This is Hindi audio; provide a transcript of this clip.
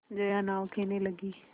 जया नाव खेने लगी